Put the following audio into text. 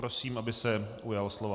Prosím, aby se ujal slova.